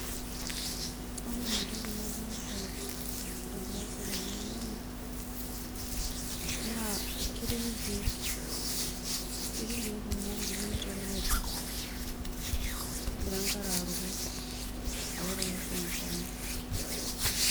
ore entoki naadolita egira aasa tenewui, naa ketii irkeek, ketii irkeek kumok oleng netii orkeju. negira enkare aruko alo toloshong'ishong'i